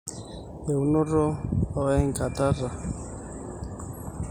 Eunoto ooengitata enkanyit naa keret eripoto omanyara